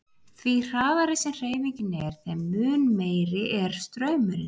Því hraðari sem hreyfingin er þeim mun meiri er straumurinn.